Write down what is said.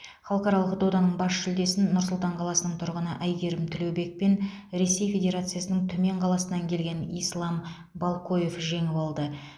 халықаралық доданың бас жүлдесін нұр сұлтан қаласының тұрғыны әйгерім тілеубек пен ресей федерациясының түмен қаласынан келген ислам балкоев жеңіп алды